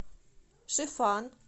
шифан